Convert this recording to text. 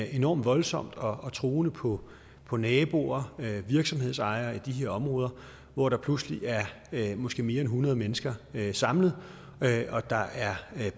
enormt voldsomt og truende på på naboer og virksomhedsejere i de her områder hvor der pludselig er måske mere end hundrede mennesker samlet og der er